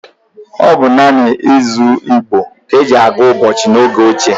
Ọ bụ naanị izu Igbo ka e ji agwuụ ụbọchị n’oge ochie.